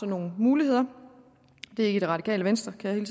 nogle muligheder det er ikke det radikale venstre kan jeg